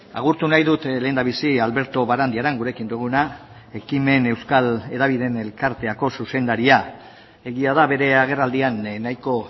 agurtu nahi dut lehendabizi alberto barandiaran gurekin duguna hekimen euskal hedabideen elkarteko zuzendaria egia da bere agerraldian nahiko